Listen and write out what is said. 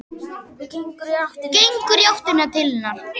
Gengur í áttina til hennar.